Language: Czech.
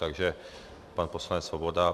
Takže pan poslanec Svoboda.